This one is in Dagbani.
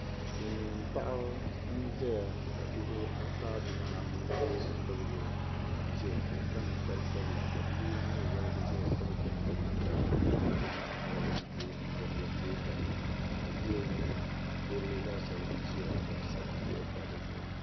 Silmiin paɣa n ʒɛya ka bihi ata bihi anu dolisi bibgo ka o kpa ninkpari sabila ka bia yino mii woligi ʒɛya ka bi chɛŋ piri namda ka zaŋ o nuhi laɣam tabi n ti gili o teenga ka dikpuni laasabu ʒɛya ka bi sabi puuo pa dizuɣu